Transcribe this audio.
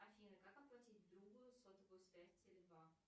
афина как оплатить другу сотовую связь теле два